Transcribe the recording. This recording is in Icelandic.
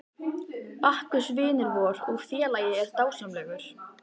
Bakkus vinur vor og félagi er dásamlegur.